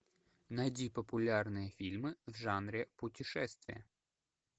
найди популярные фильмы в жанре путешествия